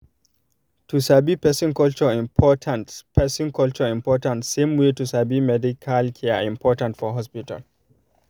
to sabi person culture important person culture important same way to sabi medical care important for hospital